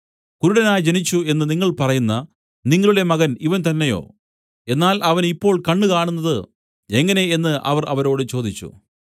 കുരുടനായി ജനിച്ചു എന്നു നിങ്ങൾ പറയുന്ന നിങ്ങളുടെ മകൻ ഇവൻ തന്നെയോ എന്നാൽ അവന് ഇപ്പോൾ കണ്ണ് കാണുന്നത് എങ്ങനെ എന്നു അവർ അവരോട് ചോദിച്ചു